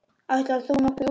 Ætlar þú nokkuð út í?